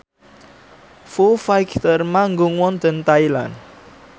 Foo Fighter manggung wonten Thailand